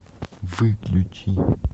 выключи